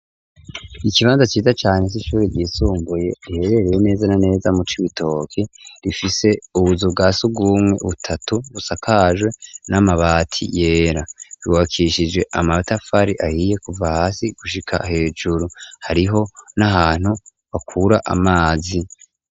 Ikibanza ciza cane c'ishuri ryisumbuye riherereye neza na neza mu Cibitoki. Rifise ubuzu bwa surwumwe butatu busakajwe n'amabati yera. Ryubakishijwe amatafari ahiye kuva hasi gushika hejuru, hariho n'ahantu bakura amazi.